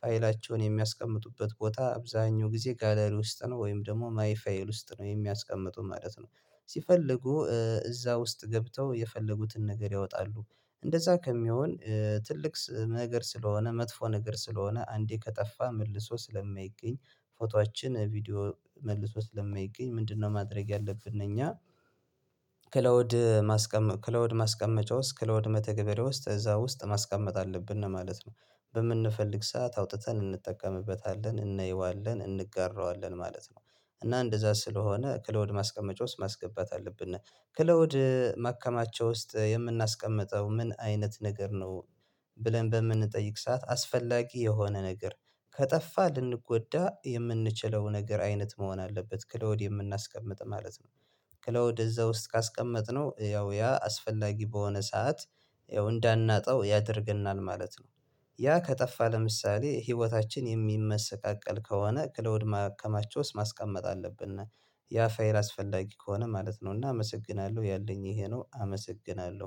ፋይላቸውን የሚያስቀምጡበት ቦታ አብዛኛው ግዜ ጋለሪ ውስጥ ነው ወይም ደሞ ማይ ፋይል ውስጥ ነው የሚያስቀምጡት ማለት ነው። ሲፈልጉ እዛ ውስጥ ገብተው የፈለጉትን ነገር ያወጣሉ። እንደዛ ከሚሆን ትልቅ ነገር ስለሆነ መጥፎ ነገር ስለሆነ አንዴ ከጠፋ መልሶ ስለማይገኝ ፎቶአችን ቪዲዮ መልሶ ስለማይገኝ ምንድነው? ማድረግ ያለብን እኛ ክላውድ ማስቀመጥ ክላውድ ማስቀመጫ ውስጥ ክላውድ መተግበሪያ ውስጥ እዛ ውስጥ ማስቀመጥ አለብነ ማለት ነው። በምንፈልግ ሰዓት አውጥተን እንጠቀምበታለን እንየዋለን እንጋራዋለን ማለት ነው። እና እንደዛ ስለሆነ ከላውድ ማስቀመጫ ውስጥ ማስገባት አለብነ ክላውድ ማከማቻ ውስጥ የምናስቀምጠው ምን አይነት ነገር ነው? ብለን በምንጠይቅ ሰዓት አስፈላጊ የሆነ ነገር ከጠፋ ልንጎዳ የምንችለው ነገር አይነት መሆን አለበት ክላውድ የምናስቀምጥ ማለት ነው። ክላውድ እዛ ውስጥ ካስቀመጥነው ያው ያ አስፈላጊ በሆነ ሰዓት ያው እንዳናጣው ያደርገናል ማለት ነው። ያ ከጠፋ ለምሳሌ ሂወታችን የሚመሰቃቀል ከሆነ ክላውድ ማከማቻ ውስጥ ማስቀመጥ አለብነ። ያ ፋይል አስፈላጊ ከሆነ ማለት ነው። እና አመሰግናለሁ ያለኝ እሄ ነው አመሰግናለሁ